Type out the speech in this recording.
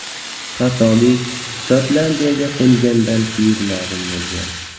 Xatolik Shotlandiyaga qo‘ngandan keyin ma’lum bo‘lgan.